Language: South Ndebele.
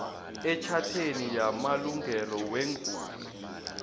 etjhatheni yamalungelo weenguli